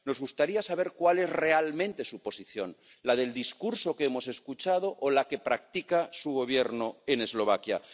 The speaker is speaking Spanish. Nos gustaría saber cuál es realmente su posición ¿la del discurso que hemos escuchado o la que practica su Gobierno en Eslovaquia?